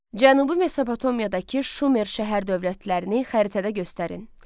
Cənubi Mesopotamiyadakı Şumer şəhər dövlətlərini xəritədə göstərin.